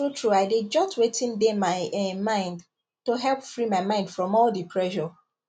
truetrue i dey jot wetin dey my um mind to help free my mind from all the pressure